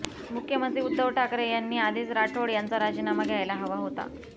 मुख्यमंत्री उद्धव ठाकरे यांनी आधीच राठोड यांचा राजीनामा घ्यायला हवा होता